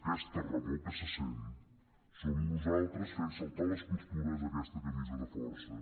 aquesta remor que se sent som nosaltres fent saltar les costures d’aquesta camisa de força